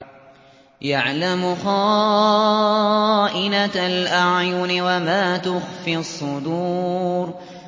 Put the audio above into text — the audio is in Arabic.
يَعْلَمُ خَائِنَةَ الْأَعْيُنِ وَمَا تُخْفِي الصُّدُورُ